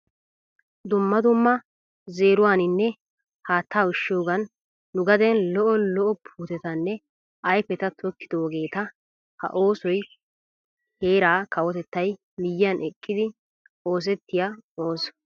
Dumma dumma zeeruwaaninne haatta ushshiyoogan nu gaden lo'o lo'o puutetaanne ayipeta tokkidoogeeta. Ha oosoyi heera kawotettayi miyyiyan eqqin oosettiyaa ooso.